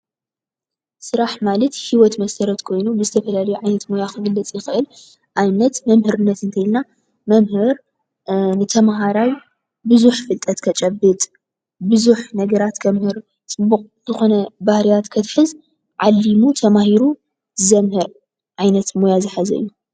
ስራሕ ማለት ሂወት መሰረት ኮይኑ ብዝተፈላለዩ ዓይነት ሞያ ክግለፅ ይክእል። ንኣብነት ፦መምህርነት እንተልና መምህር ንተማሃራይ ብዙሕ ፍልጠት ከጨብጥ ፣ብዙሕ ነገራት ከምህር፣ ፅቡቅ ዝኮነ ባህርያት ከትሕዝ ዓሊሙ ተማሂሩ ዘምህር ዓይነት ሞያ ዝሓዘ እዩ።